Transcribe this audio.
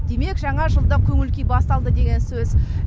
демек жаңажылдық көңіл күй басталды деген сөз